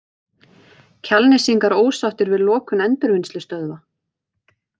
Kjalnesingar ósáttir við lokun endurvinnslustöðvar